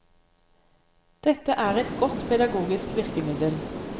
Dette er et godt pedagogisk virkemiddel.